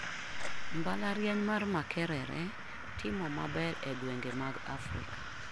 Mbalariany mar Makerere timo maber e gwenge mag Afrika.